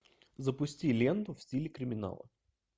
запусти ленту в стиле криминала